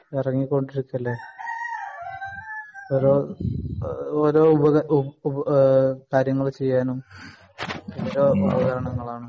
ഇറങ്ങിക്കൊണ്ടിരിക്കല്ലെ ഓരോ എഹ് ഓരോ ഉപ ഏഹ് കാര്യങ്ങൾ ചെയ്യാനും